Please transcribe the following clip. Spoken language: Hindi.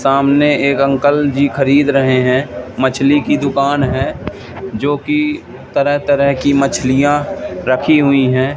सामने एक अंकल जी खरीद रहे हैं मछली की दुकान है जो की तरह तरह की मछलियां रखी हुई है।